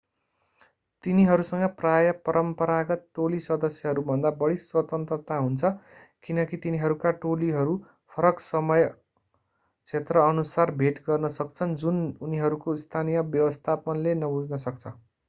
तिनीहरूसँग प्रायः परम्परागत टोली सदस्यहरू भन्दा बढी स्वतन्त्रता हुन्छ किनकि तिनीहरूका टोलीहरू फरक समय क्षेत्र अनुसार भेट गर्न सक्छन् जुन उनीहरूको स्थानीय व्यवस्थापनले नबुझ्न सक्छ